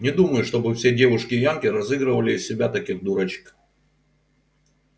не думаю чтобы все девушки-янки разыгрывали из себя таких дурочек